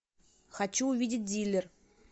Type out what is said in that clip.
хочу увидеть дилер